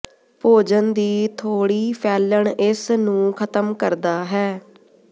ਭੋਜਨ ਦੀ ਥੋੜ੍ਹੀ ਫੈਲਣ ਇਸ ਨੂੰ ਖਤਮ ਕਰਦਾ ਹੈ